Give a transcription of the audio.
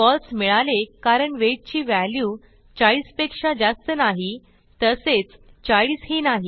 फळसे मिळाले कारण वेट ची व्हॅल्यू 40 पेक्षा जास्त नाही तसेच 40ही नाही